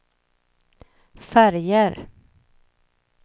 färger